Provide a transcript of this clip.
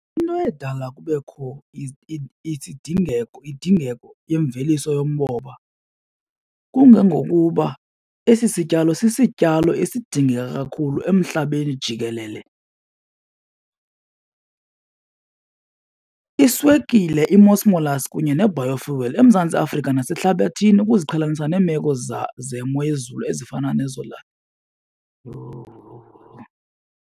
Into edala kubekho indingeko yemveliso yomoba kungokuba esi sityalo sisityalo esidinga kakhulu emhlabeni jikelele. Iswekile i-most molasse kunye ne-biofuel eMzantsi Afrika nasehlabathini ukuziqhelanisa neemeko zemo yezulu ezifana nezo .